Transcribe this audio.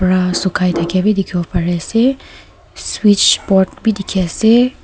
Ra sukhai thakeya bi dekhibo pare ase switch board beh dekhi ase.